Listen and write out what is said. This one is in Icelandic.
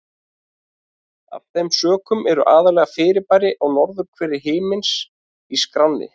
Af þeim sökum eru aðallega fyrirbæri á norðurhveli himins í skránni.